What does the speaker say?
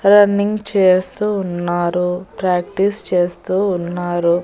Running చేస్తూ ఉన్నారు practice చేస్తూ ఉన్నారు.